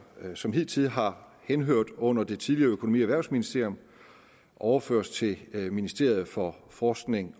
som hidtil har henhørt under det tidligere økonomi og erhvervsministerium overføres til ministeriet for forskning